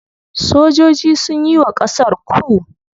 Sojoji sunyi wa ƙasar ku.